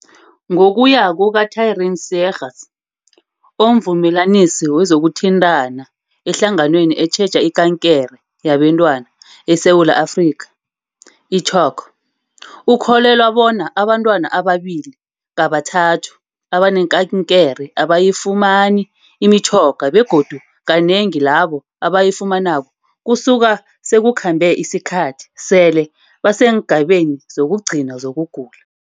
Ngokuya kuka-Taryn Seegers, oMvumelanisi wezokuThintana eHlanganweni etjheja iKankere yabeNtwana eSewula Afrika, i-CHOC, ukholelwa bona abantwana ababili kabathatu abanekankere abayifumani imitjhoga begodu kanengi labo abayifumanako kusuka sekukhambe isikhathi sele baseengabeni zokugcina zokugula.